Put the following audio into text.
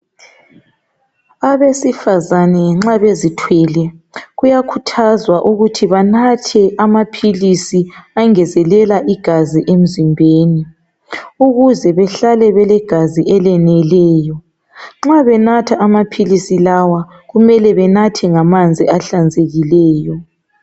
Abesifazane nxa bezithwele kuyakhuthazwa ukuthi banathe amaphilisi ayengezelela igazi emzimbeni ukuze behlale belegazi eleneleyo nxa benatha amaphilisi lawa kumele banathe ngamanzi ahlanzekileyo